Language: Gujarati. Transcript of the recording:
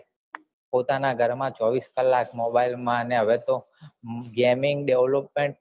પોતાના ઘર માં ચોવીસ કલાક mobile માં ને હવે તો gaming development